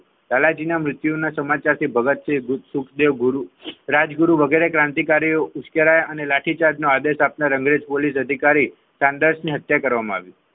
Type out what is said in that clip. લાલાજી નો મૃત્યુનો સમાચાર થી ભગતસિંહ સુખદેવ ગુરુ રાજગુરુ વગેરે ક્રાંતિકારીઓ ઉપચાર્ય લાઠીચાર્જ નો આદેશ આપતા અંગ્રેજ અધિકારી સોન્ડર્સ ની હત્યા કરવામાં આવી.